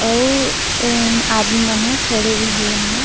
अउ अम आदमी मन खड़े हुए हे यहाँ--